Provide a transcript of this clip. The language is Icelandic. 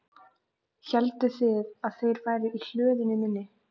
Hélduð þið að þeir væru í hlöðunni minni?